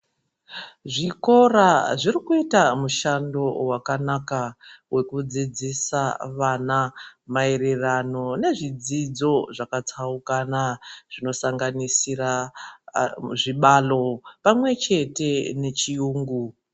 Zvikora zvirikuita mushando wakanaka wekudzidzisa vana mayererano nezvidzidzo zvakatsaukana, zvinosanganisira zvibhalo pamwechete nechiyungu.